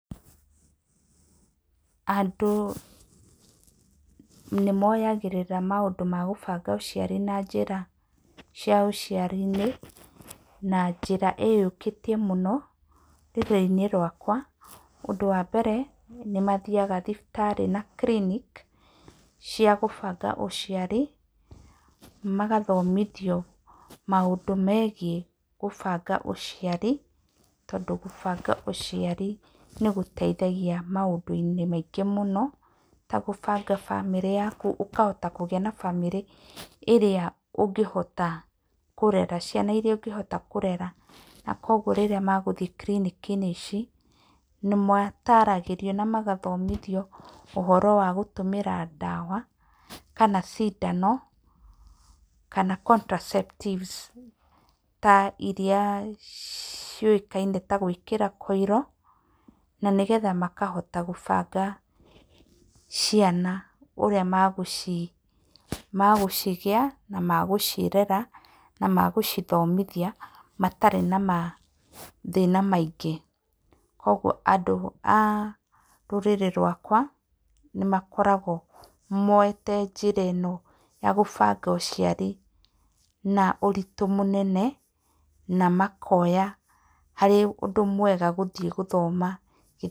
Andũ nĩ moyagĩrĩra maũndũ ma kũbanga ũciari na njĩra cia ũciari-inĩ na njĩra ĩyũkĩtie mũno rũrĩrĩ-inĩ rwakwa. Ũndũ wa mbere nĩ mathiaga thibitarĩ na clinic cia kũbanga ũciari magathomithio maũndũ megiĩ kũbanga ũciari. Tondũ kũbanga ũciari nĩ gũteithagia maũndũ-inĩ maingĩ mũno ta kũbanga bamĩrĩ yaku. Ũkahota kũgĩa na bamĩrĩ ĩrĩa ũngĩhota kũrera, ciana irĩa ũngĩhota kũrera. Na kwoguo rĩrĩa magũthiĩ clinic ici nĩ mataragĩrio na magathomithio ũhoro wa gũtũmĩra ndawa kana cindano kana contraceptives ta irĩa ciũĩkaine ta gwĩkĩra coil, na nĩgetha makahota kũbanga ciana ũrĩa magũcigĩa na magũcirera na magũcithomithia matarĩ na mathĩna maingĩ. Kwoguo andũ a rũrĩrĩ rwakwa nĩ makoragwo moete njĩra ĩno ya kũbanga ũciari na ũritũ mũnene na makoya arĩ ũndũ mwega gũthiĩ gũthoma...